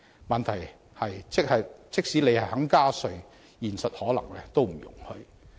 問題是，即使政府願意加稅，現實可能都不容許。